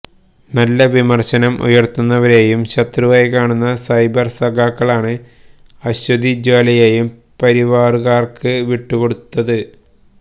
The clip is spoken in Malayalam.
നല്ല വിമർശനം ഉയർത്തുന്നവരേയും ശത്രുവായി കാണുന്ന സൈബർ സഖാക്കളാണ് അശ്വതി ജ്വാലയേയും പരിവാറുകാർക്ക് വിട്ടു കൊടുത്തത്